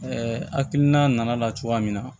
hakilina nana cogoya min na